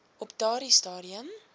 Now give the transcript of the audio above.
op daardie stadium